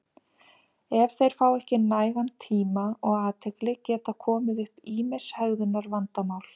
ef þeir fá ekki nægan tíma og athygli geta komið upp ýmis hegðunarvandamál